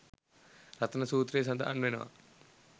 රතන සූත්‍රයේ සඳහන් වෙනවා.